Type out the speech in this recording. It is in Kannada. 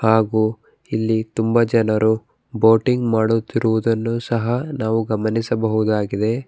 ಹಾಗು ಇಲ್ಲಿ ತುಂಬ ಜನರು ಬೋಟಿಂಗ್ ಮಾಡುತ್ತಿರುವುದನ್ನು ಸಹ ನಾವು ಗಮನಿಸಬಹುದಾಗಿದೆ.